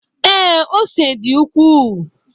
Ee, ose dị ukwuu.